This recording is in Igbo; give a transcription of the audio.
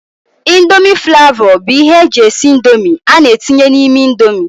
índomi flavó bụ ihe eji esị índomi ana etinye n' ime índomi.